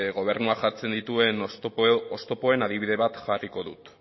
gobernuak jartzen dituen oztopoen adibide bat jarriko dut